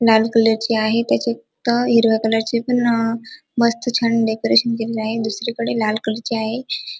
लाल कलरची आहे त्याच्यात हिरव्या कलरची पण अ मस्त छान डेकोरेशन केलेली आहे दुसरीकडे लाल कलरची आहे.